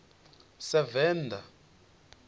sevenda